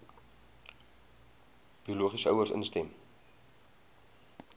biologiese ouers instem